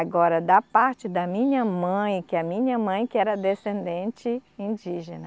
Agora, da parte da minha mãe, que a minha mãe que era descendente indígena,